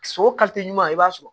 So o ɲuman i b'a sɔrɔ